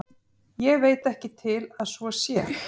Ég veit ekki til að svo sé.